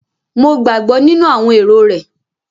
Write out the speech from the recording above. Mo gbàgbọ́ nínú àwọn èrò rẹ̀